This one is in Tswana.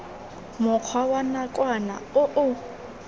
mokgwa wa nakwana o o